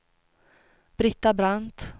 Britta Brandt